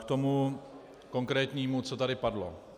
K tomu konkrétnímu, co tady padlo.